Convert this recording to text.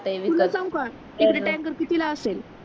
तुला सांगू का तिकडे टँकर कितीला असते